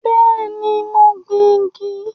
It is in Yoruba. Bẹ́ẹ̀ni, mo gbìn igi